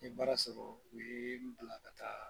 N baara sɔrɔ u ye n bila ka taa